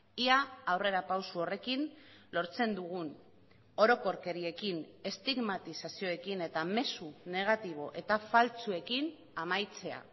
ia aurrerapauso horrekin lortzen dugun orokorkeriekin estigmatizazioekin eta mezu negatibo eta faltsuekin amaitzea